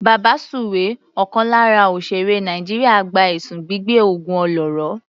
Babasuwe ọ̀kan lára òsèèré Nàìjíríà gba ẹ̀sùn gbígbẹ́ ògùn olóró.